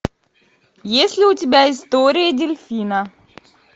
есть ли у тебя история дельфина